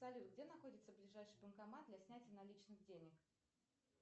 салют где находится ближайший банкомат для снятия наличных денег